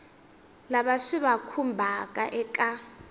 lava swi va khumbhaka eka